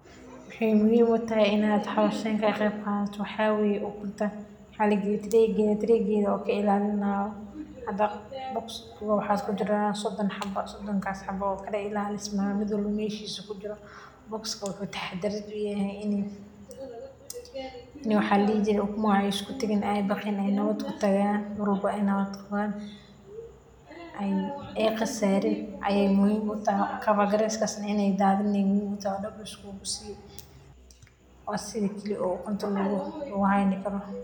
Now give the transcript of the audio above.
Maxay muhiim u tahay in aad howshan ka qeyb qaadato, waxaa weye ukunta walagaliye tiregeda, tiregeda o kailalinayo hada box kiwa waxaa kujiraa sodan xabo, sodonkas xabo kala ilalisma miid walbo meshisa kujira box ka wuxuu taxadarad uyahay ini waxaa ladihi jiree ukumaha ee iskutagiin ee nawad kutagaan ee daabrin ine nawaad kutagan mar walbo o ee nawad qawan, ee qasarin ayey muhiim u tahay, kaba greskasna ine dathinin ayey muhiim utahay sas aya daab liskugu siye, waa sitha kali eh ukunta lagu ilalin karo.